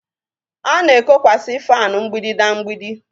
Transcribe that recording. A na-ekokwasị fanu mgbidi na mgbidi